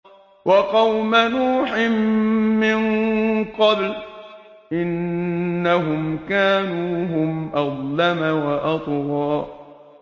وَقَوْمَ نُوحٍ مِّن قَبْلُ ۖ إِنَّهُمْ كَانُوا هُمْ أَظْلَمَ وَأَطْغَىٰ